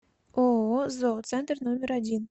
ооо зооцентр номер один